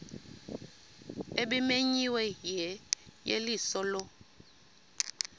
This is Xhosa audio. ebimenyiwe yeyeliso lo